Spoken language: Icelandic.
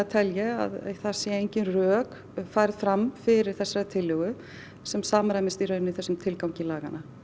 tel ég að það séu engin rök færð fram fyrir þessari tillögu sem samræmist í rauninni þessum tilgangi laganna